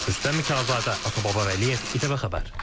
Rüstəm Mikayılzadə, Atababa Vəliyev, İTV Xəbər.